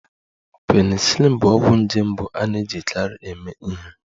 Penicillin bụ ọgwụ nje mbụ a na-ejikarị eme ihe